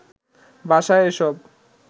বাসায় এসব